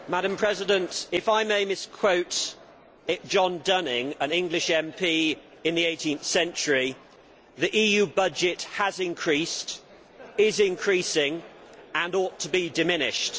Madam President, if I may misquote John Dunning, an English MP in the 18th century, the EU budget has increased, is increasing and ought to be diminished.